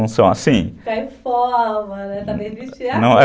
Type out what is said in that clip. Não são assim?